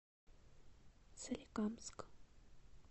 соликамск